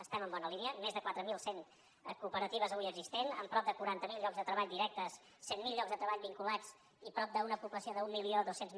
estem en bona línia més de quatre mil cent cooperatives avui existents amb prop de quaranta miler llocs de treball directes cent miler llocs de treball vinculats i una població de prop d’mil dos cents